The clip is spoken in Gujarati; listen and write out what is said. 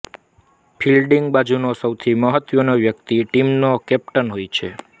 ફિલ્ડિંગ બાજુનો સૌથી મહત્વનો વ્યકિત ટીમનો કેપ્ટન હોય છે